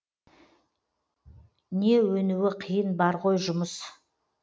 не өнуі қиын бар ғой жұмыс